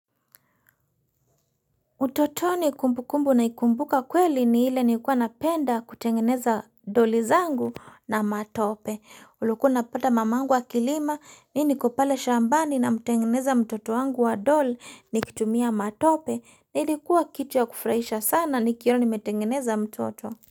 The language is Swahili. Utotoni kumbukumbu naikumbuka kweli ni ile nilikuwa napenda kutengeneza doli zangu na matope. Ulikuwa unapata mamangu akilima mimi niko pale shambani namtengeneza mtoto wangu wa doli nikitumia matope. Ilikuwa kitu ya kufurahisha sana nikiona nimetengeneza mtoto.